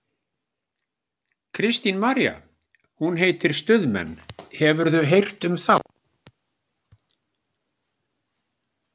Kristín María: Hún heitir Stuðmenn, hefurðu heyrt um þá?